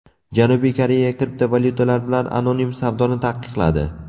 Janubiy Koreya kriptovalyutalar bilan anonim savdoni taqiqladi.